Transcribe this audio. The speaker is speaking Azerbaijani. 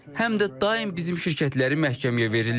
Həm də daim bizim şirkətləri məhkəməyə verirlər.